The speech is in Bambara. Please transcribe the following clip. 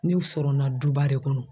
N'u sɔrɔna duba de kɔnɔ